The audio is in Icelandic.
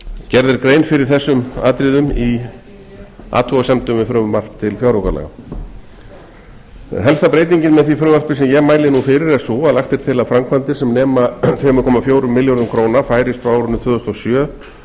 gerð er grein fyrir þessum atriðum í athugasemdum við frumvarp til fjáraukalaga helsta breytingin með því frumvarpi sem ég mæli nú fyrir er sú að lagt er til að framkvæmdir sem nema einn komma fjórum milljörðum króna færist frá árinu tvö þúsund og sjö